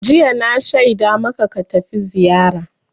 Jiya na shaida maka ka tafi Zariya!